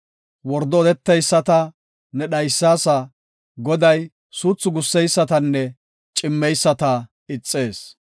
Wordo odeteyisata ne dhaysaasa; Goday suuthu gusseysatanne cimmeyisata ixees.